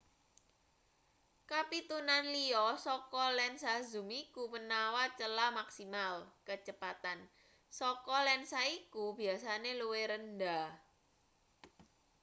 kapitunan liya saka lensa zoom iku menawa celah maksimal kecepatan saka lensa iku biasane luwih rendah